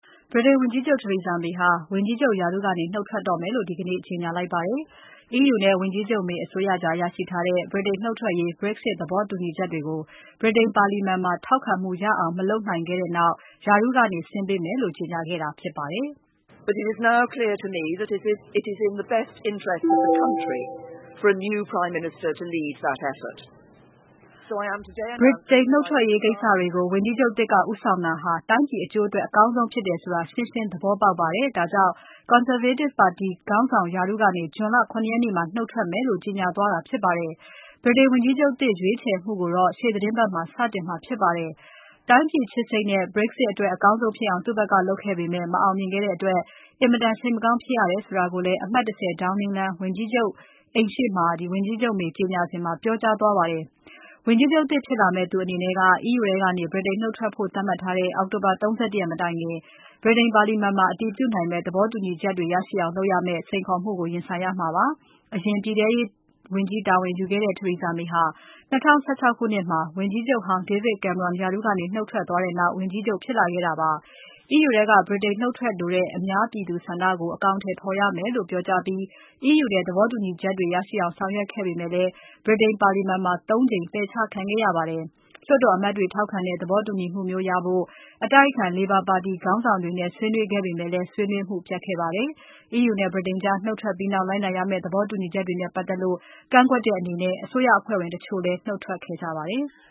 ဗြိတိန်ဝန်ကြီးချုပ် Theresa May က ဝန်ကြီးချုပ်ရာထူးကနေ နုတ်ထွက်တော့မယ်လို့ ဒီကနေ့ ကြေညာလိုက်ပါတယ်။ EU နဲ့ ဝန်ကြီးချုပ် May အစိုးရကြား ရရှိထားတဲ့ ဗြိတိန်နုတ်ထွက်ရေး Brexit သဘောတူညီချက်တွေကို ဗြိတိန်ပါလီမာန်မှာ ထောက်ခံမှုရအောင် မလုပ်နိုင်ခဲ့တဲ့နောက် ရာထူးကနေ ဆင်းပေးမယ်လို့ ကြေညာခဲ့တာဖြစ်ပါတယ်။ ဗြိတိန်နှုတ်ထွက်ရေးကိစ္စတွေကို ဝန်ကြီးချုပ်သစ်က ဦးဆောင်တာဟာ တိုင်းပြည်အကျိုးအတွက် အကောင်းဆုံးဖြစ်တယ်ဆိုတာ ရှင်းရှင်းသဘောပေါက်ပါတယ်။ ဒါကြောင့် Conservative and Unionist ပါတီခေါင်းဆောင်ရာထူးကနေ ဂျွန်လ ၇ ရက်နေ့မှာ နုတ်ထွက်မယ်လို့ ကြေညာသွားတာ ဖြစ်ပါတယ်။ ဗြိတိန်ဝန်ကြီးချုပ်သစ် ရွေးချယ်မှုကိုတော့ ရှေ့သီတင်းပါတ်မှာ စတင်မှာ ဖြစ်ပါတယ်။ တိုင်းပြည်ချစ်စိတ်နဲ့ Brexit အတွက် အကောင်းဆုံးဖြစ်အောင် သူ့ဘက်ကလုပ်ခဲ့ပေမဲ့ မအောင်မြင်ခဲ့တဲ့အတွက် အင်မတန်စိတ်မကောင်း ဖြစ်ရတယ်ဆိုတာကိုလည်း အမှတ် ၁၀ Downing လမ်း၊ ဝန်ကြီးချုပ်အိမ်ရှေ့မှာ ဝန်ကြီးချုပ် May ကြေညာစဉ် ပြောကြားသွားပါတယ်။ ဝန်ကြီးချုပ်သစ် ဖြစ်လာမယ့်သူအနေနဲ့ EU ထဲကနေ ဗြိတိန်နုတ်ထွက်ဖို့ သတ်မှတ်ထားတဲ့ အောက်တိုဘာ ၃၁ ရက်မတိုင်ခင် ဗြိတိန်ပါလီမာန်က အတည်ပြုနိုင်မယ့် သဘောတူညီချက်တွေ ရရှိအောင်လုပ်ရမယ့် စိန်ခေါ်မှုကို ရင်ဆိုင်ရမှာဖြစ်ပါတယ်။ အရင်ပြည်ထဲရေးဝန်ကြီး တာဝန်ယူခဲ့တဲ့ Theresa May ဟာ ၂၀၁၆ ခုနှစ်မှာ ဝန်ကြီးချုပ်ဟောင်း David Cameron ရာထူးကနေ နုတ်ထွက်သွားတဲ့နောက် ဝန်ကြီးချုပ် ဖြစ်လာခဲ့တာပါ။ EU ထဲက ဗြိတိန်နုတ်ထွက်လိုတဲ့ ပြည်သူအများဆန္ဒကို အကောင်အထည် ဖော်ရမယ်လို့ပြောကြားပြီး သဘောတူညီမှုတွေ ရရှိအောင် ဆောင်ရွက်ခဲ့ပေမဲ့ ဗြိတိန်ပါလီမာန်မှာ ၃ ကြိမ် ပယ်ချခံခဲ့ရပါတယ်။ လွှတ်တော်အမတ်တွေ ထောက်ခံတဲ့ သဘောတူညီမှုမျိုးရဖို့ အတိုက်အခံ Labour ပါတီခေါင်းဆောင်တွေနဲ့ ဆွေးနွေးခဲ့ပေမဲ့လည်း ဆွေးနွေးမှု ပျက်ခဲ့ပါတယ်။ EU နဲ့ ဗြိတိန်ကြား နုတ်ထွက်ပြီးနောက် လိုက်နာရမယ့် သဘောတူညီချက်တွေနဲ့ ပတ်သက်လို့ ကန့်ကွက်တဲ့အနေနဲ့ အစိုးရအဖွဲ့ဝင်တချို့လည်း နုတ်ထွက်ခဲ့ကြပါတယ်။